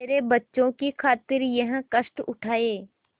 मेरे बच्चों की खातिर यह कष्ट उठायें